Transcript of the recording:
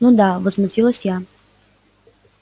ну да возмутилась я